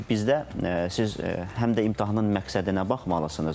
Çünki bizdə siz həm də imtahanın məqsədinə baxmalısınız.